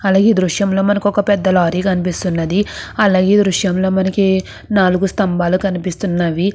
అలగేయ్ ఇక్కడ ద్రుశము లో మనకు ఇక్కడ అలగేయ్ మనకు ఇక్కడ కనిపెస్తునది. ఇక్కడ మనకు నలుగు స్తబాలు ఉనతే మనకు ఉంటునది.